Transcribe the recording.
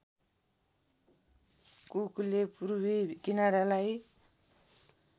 कुकले पूर्वी किनारालाई